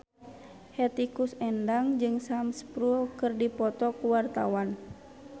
Hetty Koes Endang jeung Sam Spruell keur dipoto ku wartawan